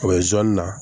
O ye zonzani na